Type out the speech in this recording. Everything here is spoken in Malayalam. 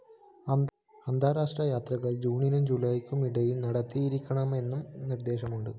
അന്താരാഷ്ട്ര യാത്രകള്‍ ജൂണിനും ജൂലൈയ്ക്കും ഇടയില്‍ നടത്തിയിരിക്കണമെന്നും നിര്‍ദ്ദേശമുണ്ട്